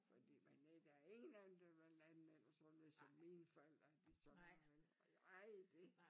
Fordi men øh der er ingen af dem der vil være landmænd og sådan noget som mine forældre de sådan var vel ej det